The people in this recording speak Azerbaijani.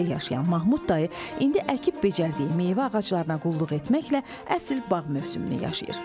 Bu həyətdə yaşayan Mahmud dayı indi əkib becərdiyi meyvə ağaclarına qulluq etməklə əsl bağ mövsümünü yaşayır.